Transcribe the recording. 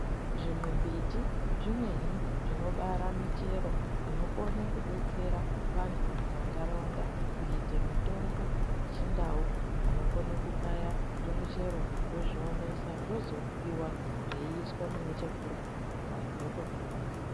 Zvimimbiti zvimweni zvinobara michero inokone kudetsera vantu mumantaraunda kuite mitombo yechindau vanokone kukaya zvimichero vozviomesa zvozoryiwa zveizviisa mune chekurya vanhu votopona.